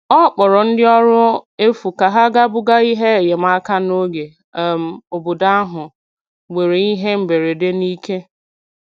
Ọ kpọrọ ndị ọrụ efu ka ha ga buga ihe enyemaka n'oge um obodo ahụ nwere ihe mberede n'ike.